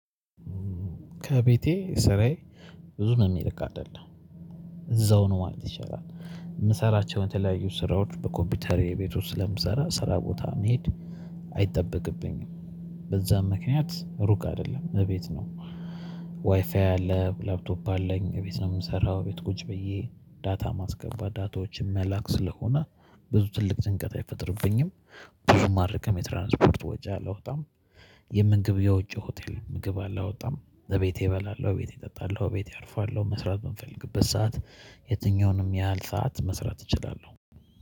ከቤቴ ስራዬ ብዙ የሚርቅ አይደለም እዛው ነው ማለት ይቻላል የምሰራቸውን የተለያዩ ስራዎች በኮምፒውተር የቤት ውስጥ ስለምሰራ ስራ ቦታ መሄድ አይጠበቅብኝም በዛም ምክንያት ሩቅ አይደለም እቤት ነው። ዋይፋይ አለ ላፕቶፕ አለኝ እቤት ነው የምሰራው ቤት ቁጭ ብዬ ዳታ ማስገባት ዳታዎችን መላክ ስለሆነ ብዙ ትልቅ ጭንቀት አይፈጥርብኝም። ብዙም አልርቅም የትራንስፖርት ወጪ አላወጣም። የምንግብ የውጪ ሆቴል ምግብ አላወጣም ዘቤቴ እበላለሁ ቤቴ እጠጣለሁ ቤቴ አርፋለሁ። መስራት በምፈልግበት ሰዓት የትኛውንም ያህል ሰዓት መስራት እችላለሁ።